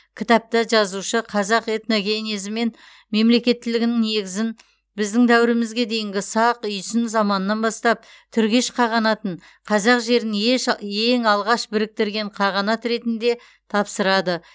кітапта жазушы қазақ этногенезі мен мемлекеттілігінің негізін біздің дәуірімізге дейінгі сақ үйсін заманынан бастап түргеш қағанатын қазақ жерін ең алғаш біріктірген қағанат ретінде тапсырады